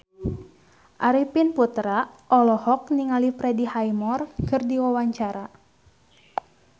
Arifin Putra olohok ningali Freddie Highmore keur diwawancara